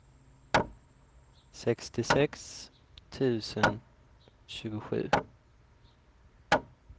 sextiosex tusen tjugosju